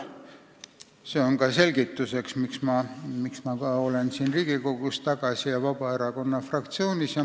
See on ka selle selgituseks, miks ma olen tagasi siin Riigikogus ja olen Vabaerakonna fraktsioonis.